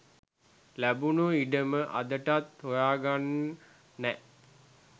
ලැබුණු ඉඩම අදටත් හොයාගන්න නෑ.